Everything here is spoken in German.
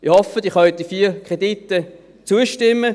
Ich hoffe, Sie können den vier Krediten zustimmen.